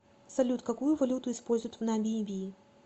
салют какую валюту используют в намибии